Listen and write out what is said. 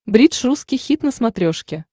бридж русский хит на смотрешке